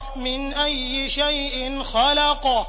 مِنْ أَيِّ شَيْءٍ خَلَقَهُ